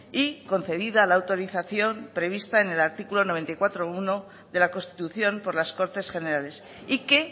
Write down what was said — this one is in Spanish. y concedida la autorización prevista en el artículo noventa y cuatro punto uno de la constitución por las cortes generales y que